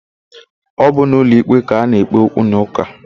Ọ bụ n'ụlọikpe ka ana-ekpe okwunaụka.